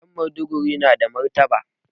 Ƴan Maiduguri na da martaba